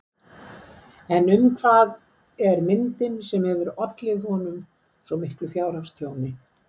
En um hvað er myndin sem hefur ollið honum svo miklu fjárhagstjóni?